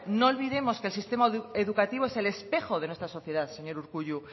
no olvidemos que el sistema educativo es el espejo de nuestra sociedad señor urkullu